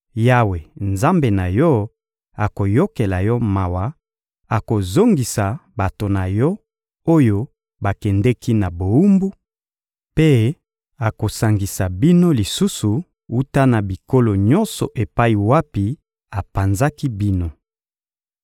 Yawe, Nzambe na yo, akoyokela yo mawa: akozongisa bato na yo, oyo bakendeki na bowumbu mpe akosangisa bino lisusu wuta na bikolo nyonso epai wapi apanzaki bino.